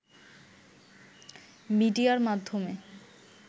মিডিয়ার মাধ্যমে